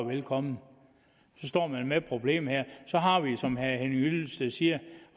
velkomne nu står man med problemet så har vi som herre henning hyllested siger